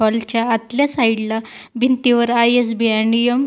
Hall च्या आतल्या side ला भिंतीवर आय.एस.बी.आय. नियम --